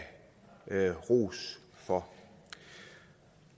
ros for